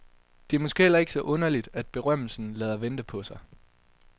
Det er måske heller ikke så underligt, at berømmelsen lader vente på sig.